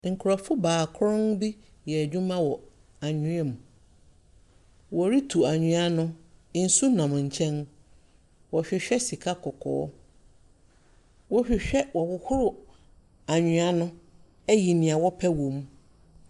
Nkurɔfo baakron bi reyɛ adwuma anwea mu. Woritu anwea no. nsu nam nkyɛn. Wɔrehwehwɛ sika kɔkɔɔ. Wɔrehwehwɛ wɔrehohoro anwea no ayi nea wɔrepɛ wom.